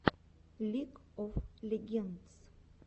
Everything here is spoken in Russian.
лиг оф легендс